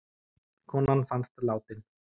Konan fannst látin